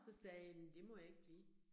Så sagde jamen det må jeg ikke blive